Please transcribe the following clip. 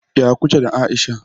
Ya kuke da Aisha?